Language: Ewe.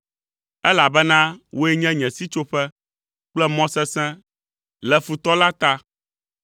elabena wòe nye nye sitsoƒe kple mɔ sesẽ, le futɔ la ta.